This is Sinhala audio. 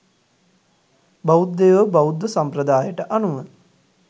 බෞද්ධයෝ බෞද්ධ සම්ප්‍රදායට අනුව